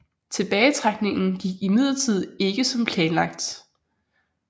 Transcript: Tilbagetrækningen gik imidlertid ikke som planlagt